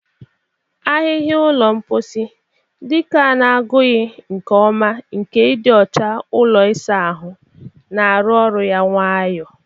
Ahịhịa ụlọ mposi, dike a na-agụghị nke ọma nke ịdị ọcha ụlọ ịsa ahụ, na-arụ ọrụ ya nwayọ.